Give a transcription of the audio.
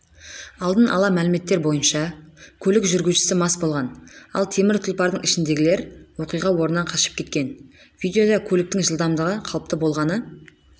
алдын ала мәліметтер бойынша көлік жүргізушісі мас болған ал темір тұлпардың ішіндегілер оқиға орнынан қашып кеткен видеода көліктің жылдамдығы қалыпты болғаны